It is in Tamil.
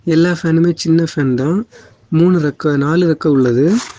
எல்லா ஃபேனுமே சின்ன ஃபேன்தா . மூனு ரெக்கெ நாலு ரெக்கெ உள்ளது.